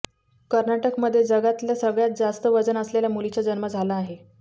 कर्नाटकमध्ये जगातल्या सगळ्यात जास्त वजन असलेल्या मुलीचा जन्म झाला आहे